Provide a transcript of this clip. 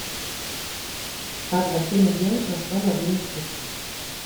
как закинуть денег на свой мобильный телефон